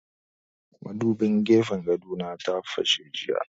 Madubin gefen gado na ta fashe jiya